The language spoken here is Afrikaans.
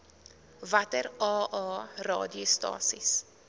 watter aa radiostasies